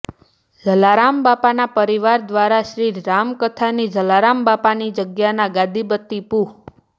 જલારામ બાપાના પરિવાર દ્વારા શ્રી રામકથાની જલારામ બાપાની જગ્યાના ગાદિપતિ પૂ